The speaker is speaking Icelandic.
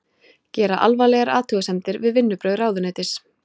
Gera alvarlegar athugasemdir við vinnubrögð ráðuneytis